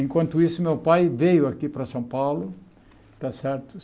Enquanto isso, meu pai veio aqui para São Paulo, tá certo?